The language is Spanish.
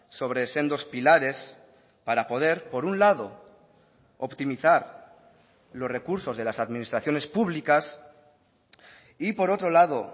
sobre sendos pilares para poder por un lado optimizar los recursos de las administraciones públicas y por otro lado